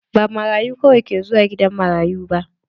Ba marayu kawai ke zuwa gidan marayu ba.